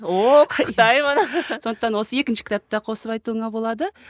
ооо құттықтаймын сондықтан осы екінші кітапты да қосып айтуыңа болады